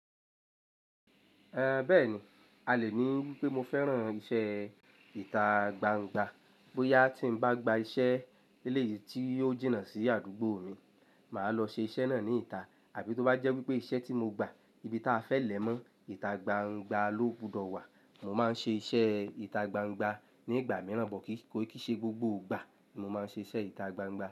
Ẹ bẹ́ẹ̀ni, a lè ní wípé mo fẹ́ràn ìṣe ìta gbangba. Bóyá tí mo bá gba iṣẹ́ eleyìí tí yóò jìnnà sí àdúgbò mi, màá lọ ṣe iṣẹ́ náà ní ìta. Àbí tó bá jẹ́ wípé iṣẹ́ tí mo gba ibi tí a fẹ́ lẹ̀ mọ́, ìta gbangba ló gbúdọ̀ wà, mo máa ń ṣe iṣẹ́ ìta gbangba nígbà mìíràn, but kí kóì kí í ṣe gbogbo ìgbà ni mo máa ń ṣe iṣẹ́ ìta gbangba.